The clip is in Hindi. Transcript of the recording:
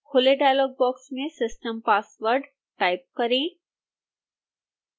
खुले डायलॉग बॉक्स में system password टाइप करें